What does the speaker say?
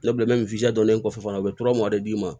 kɔfɛ fana u bɛ d'i ma